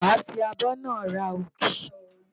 Wàá fi abọ́ náà ra ògì.